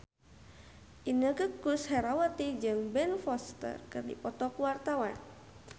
Inneke Koesherawati jeung Ben Foster keur dipoto ku wartawan